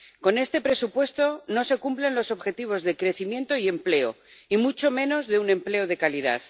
Con este presupuesto no se cumplen los objetivos de crecimiento y empleo, y mucho menos de un empleo de calidad.